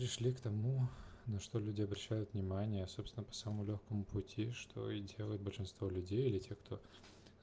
пришли к тому на что люди обращают внимания собственному по самому лёгкому пути что и делает большинство людей или те кто